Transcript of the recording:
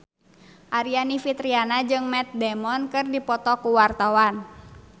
Aryani Fitriana jeung Matt Damon keur dipoto ku wartawan